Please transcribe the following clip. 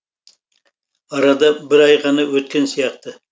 арада бір ай ғана өткен сияқты